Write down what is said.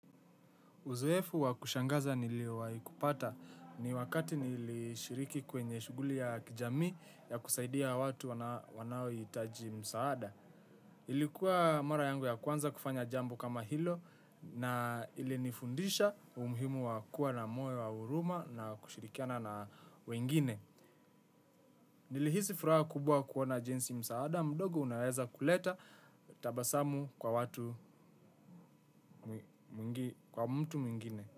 Uzoefu wa kushangaza niliowahikupata ni wakati nilishiriki kwenye shughuli ya kijamii ya kusaidia watu wanaohitaji msaada. Ilikuwa mara yangu ya kwanza kufanya jambo kama hilo na ilinifundisha umhimu wa kuwa na moyo wa huruma na kushirikiana na wengine. Nilihisi furaha kubwa kuona jinsi msaada mdogo unaweza kuleta tabasamu kwa watu mtu mingine.